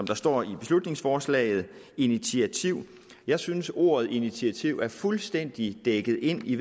der står i beslutningsforslaget initiativ jeg synes at ordet initiativ er fuldstændig dækket ind i